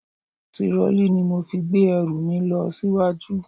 Tirọlí ni mo fi gbé ẹrù mi lọ síwájú.